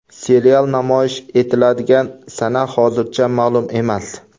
Serial namoyish etiladigan sana hozircha ma’lum emas.